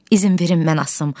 İzin verin mən asım.